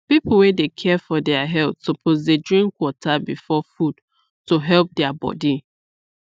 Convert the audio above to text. people wey dey care for their health suppose dey drink water before food to help their body